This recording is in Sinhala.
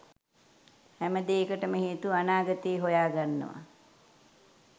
හැම දේකටම හේතුව අනාගතේ හොයාගන්නව.